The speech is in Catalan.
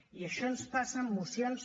i això ens passa en mocions